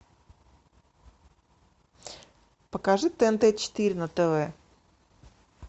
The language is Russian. покажи тнт четыре на тв